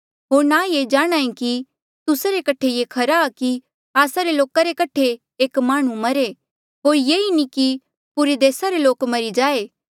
होर ना ये जाणहां ऐें कि तुस्सा रे कठे ये खरा आ कि आस्सा रे लोका रे कठे एक माह्णुं मरे होर ये नी कि पुरे देस रे लोक मरी जाए